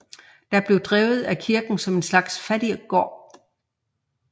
Det blev drevet af kirken som en slags fattiggård